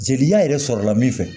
Jeliya yɛrɛ sɔrɔla min fɛ